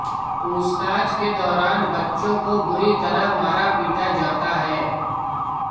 पूछताछ के दौरान बच्चों को बुरी तरह मारा पीटा जाता है